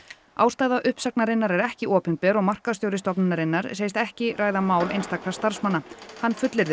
ástæða uppsagnarinnar er ekki opinber og markaðsstjóri stofnunarinnar segist ekki ræða mál einstakra starfsmanna hann fullyrðir